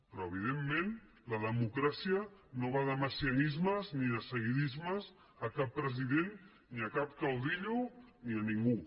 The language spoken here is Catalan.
però evidentment la democràcia no va de messianismes ni de seguidismes a cap president ni a cap caudillo ni a ningú